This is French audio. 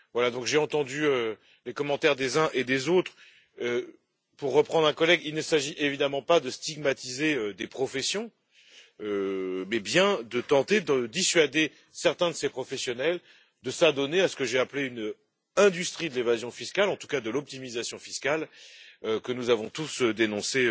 Donc, j'ai entendu les commentaires des uns et des autres et, pour reprendre un collègue, il ne s'agit évidemment pas de stigmatiser des professions, mais bien de tenter de dissuader certains de ces professionnels de s'adonner à ce que j'ai appelé une industrie de l'évasion fiscale, en tout cas de l'optimisation fiscale, que nous avons tous dénoncée